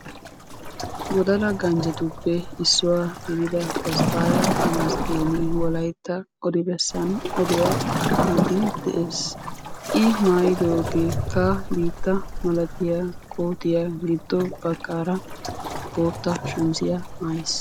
Wodala ganjjetuppe issuwa gidida Tasfaya Tamasgen wolaytta odi bessan oduwaa aatiide de'ees. I maaytidoogekka biittaa malatiya kootiyaa giddo baggaara bootta shamizziya maayiis.